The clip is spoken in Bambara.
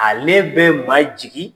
Ale bɛ ma jigi.